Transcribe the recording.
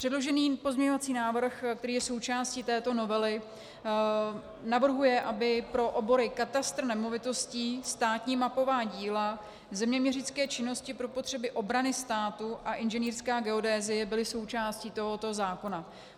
Předložený pozměňovací návrh, který je součástí této novely, navrhuje, aby pro obory katastr nemovitostí, státní mapová díla, zeměměřické činnosti pro potřeby obrany státu a inženýrská geodézie byly součástí tohoto zákona.